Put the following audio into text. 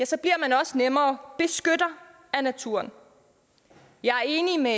så bliver man også nemmere beskytter af naturen jeg er enig med